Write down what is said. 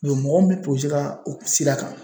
mɔgɔ min tun sera o sira kan